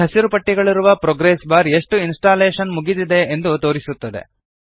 ಈ ಹಸಿರು ಪಟ್ಟಿಗಳಿರುವ ಪ್ರೊಗ್ರೆಸ್ ಬಾರ್ ಎಷ್ಟು ಇನ್ಸ್ಟಾಲ್ಲೇಶನ್ ಮುಗಿದಿದೆ ಎಂದು ತೋರಿಸುತ್ತದೆ